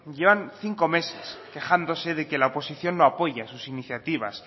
llevan cinco meses quejándose de que la oposición no apoya sus iniciativas